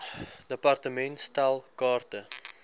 department stel kaarte